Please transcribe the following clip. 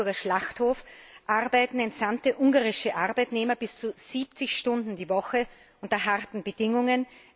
Am Salzburger Schlachthof arbeiten entsandte ungarische Arbeitnehmer bis zu 70 Stunden die Woche unter harten Bedingungen.